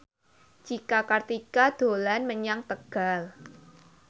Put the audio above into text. Cika Kartika dolan menyang Tegal